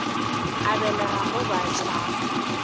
a belega mo ba tšhaba